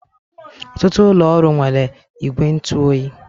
Ọtụtụ ụlọ ọrụ nwere igwe ntụ oyi.